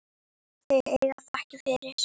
Þau eiga þakkir fyrir.